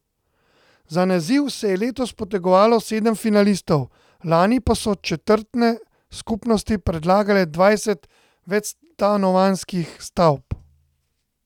Za naziv se je letos potegovalo sedem finalistov, lani pa so četrtne skupnosti predlagale dvajset večstanovanjskih stavb.